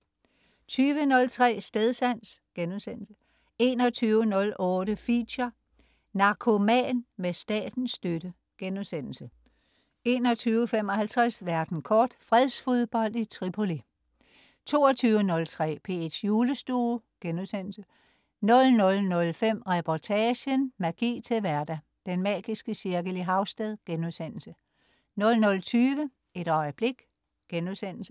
20.03 Stedsans* 21.08 Feature: Narkoman med statens støtte* 21.55 Verden kort. Fredsfodbold i Tripoli 22.03 P1's Julestue* 00.05 Reportagen: Magi til hverdag. Den magiske cirkel i Havsted* 00.20 Et øjeblik*